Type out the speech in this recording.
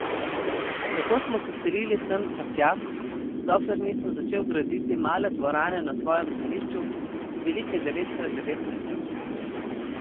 Tako smo se selili sem ter tja, dokler nisem začel graditi male dvorane na svojem zemljišču, velike devet krat devet metrov.